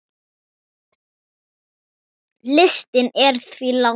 Listinn er því langur.